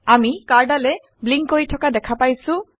আমি কাৰ্ডালৰ ব্লিংক কৰি থকা দেখা পাইছোঁ